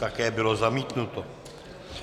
Také bylo zamítnuto.